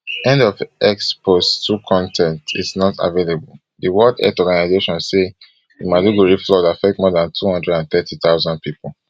end of x post two con ten t is not available di world health organization who say di maiduguri flood affect more dan two hundred and thirty thousand pipo